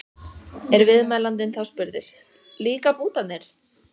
Er viðmælandinn þá spurður: Líka bútarnir?